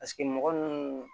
Paseke mɔgɔ ninnu